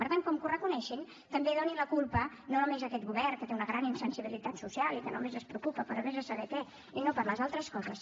per tant com que ho reconeixen també donin la culpa no només a aquest govern que té una gran insensibilitat social i que només es preocupa per ves a saber què i no per les altres coses